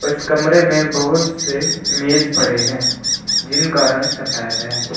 इस कमरे में बहुत से मेज पड़े हैं जिनका रंग सफेद है।